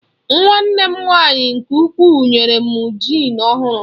Nwanne m nwaanyị nke ukwuu nyere m jịn ọhụrụ.